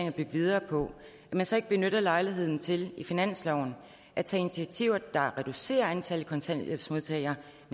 at bygge videre på så ikke benytter lejligheden til i finansloven at tage initiativer der reducerer antallet af kontanthjælpsmodtagere